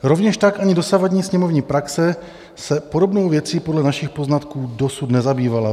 Rovněž tak ani dosavadní sněmovní praxe se podobnou věcí podle našich poznatků dosud nezabývala.